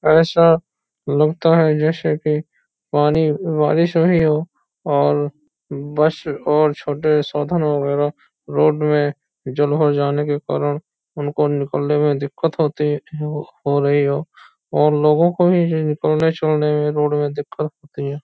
ऐसा लगता है जैसे कि पानी बारिश हुई हो और बस और छोटे साधन वगैरा रोड में जल हो जाने के कारण उनको निकलने में दिक्कत होती हो रही हो और लोगों को भी जिनको छोड़ने में रोड में दिक्कत होती है।